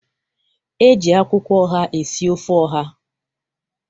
E ji akwụkwọ oha esi ofe oha.